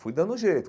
Fui dando jeito.